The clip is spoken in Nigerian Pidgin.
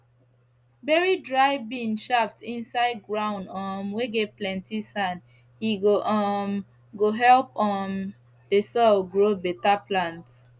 bury dry bean shaft inside ground um whey get plenty sand he go um go help um the soil grow better plants